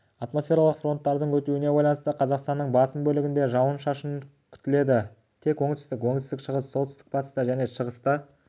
атмосфералық фронттардың өтуіне байланысты қазақстанның басым бөлігінде жауын-шашын күтіледі тек оңтүстік оңтүстік-шығыста солтүстік-батыста және шығыста ауа райы жауын-шашынсыз болады